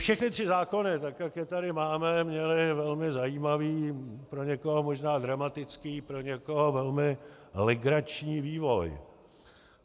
Všechny tři zákony, tak jak je tady máme, měly velmi zajímavý, pro někoho možná dramatický, pro někoho velmi legrační vývoj.